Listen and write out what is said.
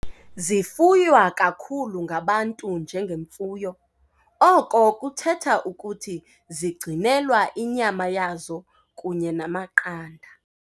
Zifuywa kakhulu ngabantu njengemfuyo, oko kuthetha ukuthi zigcinelwa inyama yazo kunye namaqanda.